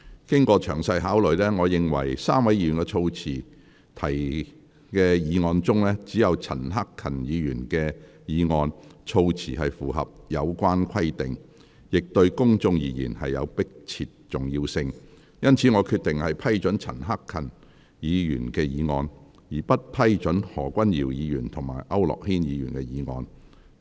經詳細考慮，我認為3位議員所提的議案中，只有陳克勤議員的議案措辭符合有關規定，亦對公眾而言有迫切重要性，因此我決定批准陳克勤議員的議案，而不批准何君堯議員及區諾軒議員的議案。